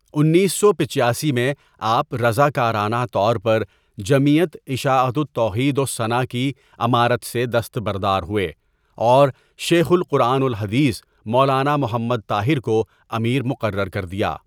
انیس سو پچاسی میں آپ رضاکارانہ طور پر جمعیت اشاعت التوحیدوالسنہ کی امارت سے دستبردار ہوئے اور شیخ القرآن والحدیث مولانا محمدطاہر کو امیر مقرر کردیا.